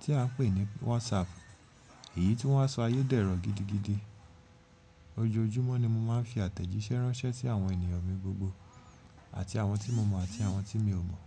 tí a ń pè ní WhatsApp. Èyí tí wọ́n sọ ayé dẹ́rọ̀ gidigidi. Ojoojúmọ́ ni mo máa ń fi àtẹ̀jíṣẹ́ ránṣẹ́ sí àwọn ènìyàn mi gbogbo àti àwọn tí mo mọ̀ àti àwọn tí mi ò mọ̀